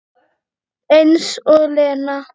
Eins og Lena!